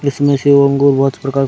इसमें से अंगूर बहुत प्रकार --